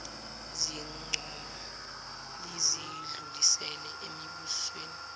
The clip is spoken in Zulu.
zincomo lizidlulisele emibusweni